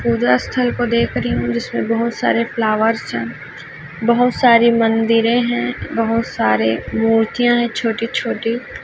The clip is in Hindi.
पूजा स्थल को देख रही हूं जिसमें बहोत सारे फ्लावर्स है बहोत सारे मंदिरे है बहोत सारे मूर्तियां है छोटी-छोटी --